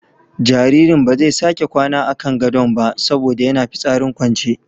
Jaririn ba zai sake kwana a kan gadon ba saboda yana fitsarin kwance.